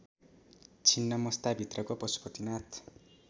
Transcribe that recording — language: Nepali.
छिन्नमस्ताभित्रको पशुपतिनाथ